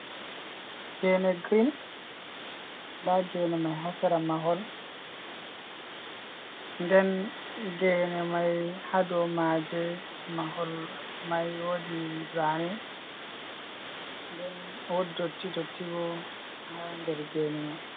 Gene green da gene mai hasira mahol ,den gene mai hado maje mahol mai wodi zani wot dotidoti bo ha der gene mai.